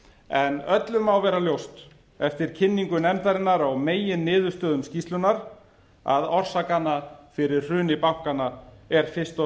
en öllum má vera ljóst eftir kynningu nefndarinnar á meginniðurstöðum skýrslunnar að orsakanna fyrir hruni bankanna er fyrst og